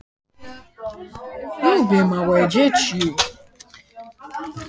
Þar var nístandi gólfkuldi og dívangarmurinn hans slysagildra.